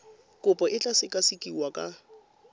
kopo e tla sekasekiwa ka